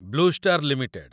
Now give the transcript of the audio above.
blue star limited